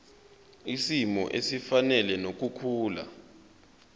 kwisimo esifanele nokukhula